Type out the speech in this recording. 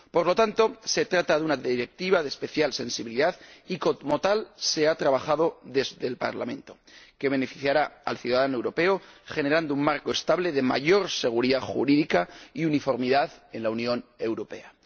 Por lo tanto, se trata de una Directiva de especial sensibilidad, y como tal se ha trabajado desde el Parlamento, que beneficiará al ciudadano europeo generando un marco estable de mayor seguridad jurídica y uniformidad en la Unión Europea.